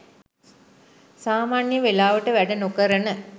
සාමාන්‍යයෙන් වෙලාවට වැඩ නොකරන